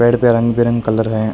पेड़ पे रंग बिरंग कलर हैं।